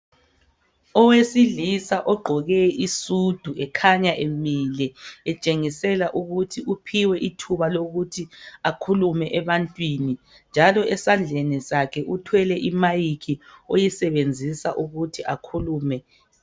Owesilisa ogqoke isudu ekhanya emile etshengisela ukuthi uphiwe ithuba lokuthi akhulume ebantwini njalo esandleni sakhe uthwele imic oyisebenzisa ukuthi akhulume.